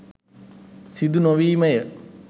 සිදු නොවීමය